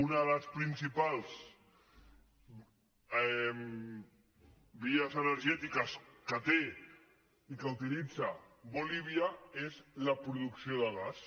una de les principals vies energètiques que té i que utilitza bolívia és la produc·ció de gas